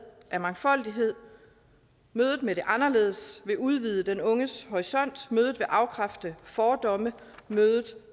af mangfoldighed mødet med det anderledes vil udvide den unges horisont mødet vil afkræfte fordomme mødet